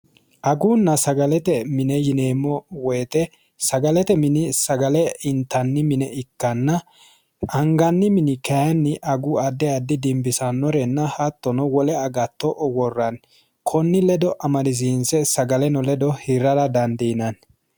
Agunna sagalete mine yineemmo woyte sagalete mini sagale intanniha ikkanna anganni mine angannire dibbisanore hattonno wole agatto worranni koni ledo amadisiise sagaleno ledo hirrara dandiinanni.